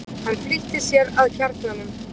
Hann flýtti sér að kjarnanum.